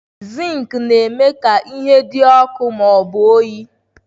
Zinki na-eme ka ihe dị ọkụ ma ọ bụ oyi.